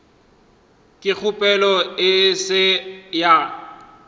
ge kgopelo e se ya